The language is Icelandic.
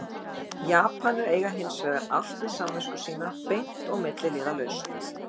Japanir eiga hins vegar allt við samvisku sína beint og milliliðalaust.